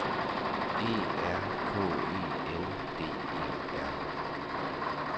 E R K E N D E R